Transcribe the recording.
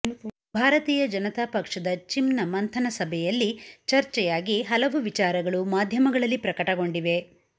ಭಾರತೀಯ ಜನತಾ ಪಕ್ಷದ ಚಿಂನ ಮಂಥನ ಸಭೆಯಲ್ಲಿ ಚರ್ಚೆಯಾಗಿ ಹಲವು ವಿಚಾರಗಳು ಮಾಧ್ಯಮಗಳಲ್ಲಿ ಪ್ರಕಟಗೊಂಡಿವೆ